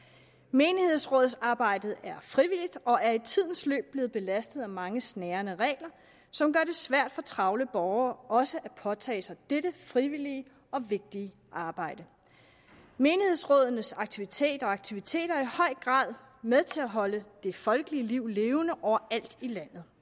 menighedsrådsarbejdet er frivilligt og er i tidens løb blevet belastet af mange snærende regler som gør det svært for travle borgere også at påtage sig dette frivillige og vigtige arbejde menighedsrådenes aktiviteter aktiviteter er i høj grad med til at holde det folkelige liv levende overalt i landet